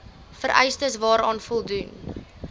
vereistes waaraan voldoen